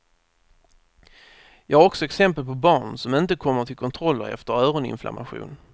Jag har också exempel på barn som inte kommer till kontroller efter öroninflammation.